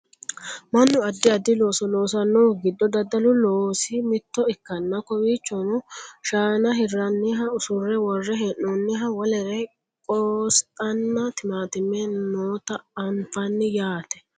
mannu addi addi looso loosannohu giddo daddalu loosi mitto ikkanna kowiichono shaana hirranniha usurre worre hee'noonniha wolere qosxanna timaattime noota anfanni yaate